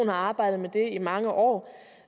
har arbejdet med det i mange år